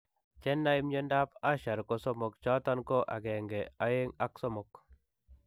Che naay en myondap Usher ko somok chooton ko I, II, ak III.